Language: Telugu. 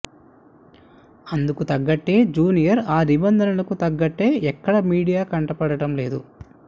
అందుకు తగ్గట్టే జూనియర్ ఆ నిబంధనలకు తగ్గట్టే ఎక్కడ మీడియా కంటపడటం లేదు